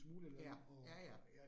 Ja, ja ja